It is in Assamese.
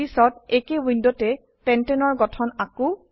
পিছত একেই উইন্ডোতে পেণ্টানে এৰ গঠন আকো